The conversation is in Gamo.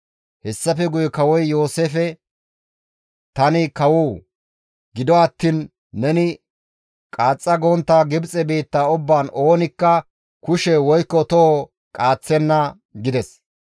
Hessafe guye kawoy Yooseefe, «Tani kawo! Gido attiin neni qaaxxa gontta Gibxe biitta ubbaan oonikka kushe woykko toho qaaththenna» gides.